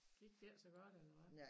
Gik det ikke så godt eller hvad